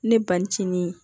Ne ba ni cini